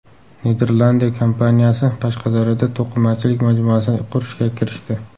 Niderlandiya kompaniyasi Qashqadaryoda to‘qimachilik majmuasini qurishga kirishdi.